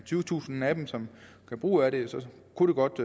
tyvetusind af dem som gør brug af den så kunne det godt